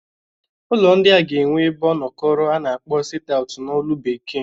Ụlọ ndịa ga-enwe ebe ọnọkọro a na-akpọ sit aut n'olu Bekee.